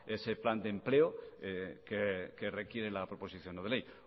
ese plan de empleo que requiere la proposición no de ley